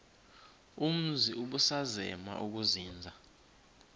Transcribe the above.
umzi ubusazema ukuzinza